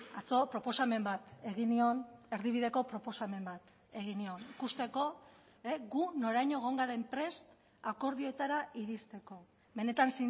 atzo proposamen bat egin nion erdibideko proposamen bat egin nion ikusteko gu noraino egon garen prest akordioetara iristeko benetan